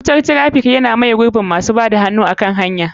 Wutar traffic yana miye gurbin wanda suke bada hannu a kan hanya.